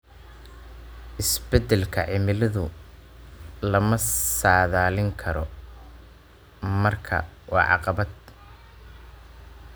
Isbeddelka cimiladu lama saadaalin karo, markaa waa caqabad.